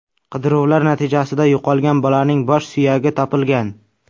Qidiruvlar natijasida yo‘qolgan bolaning bosh suyagi topilgan.